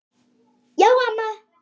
Já, amma.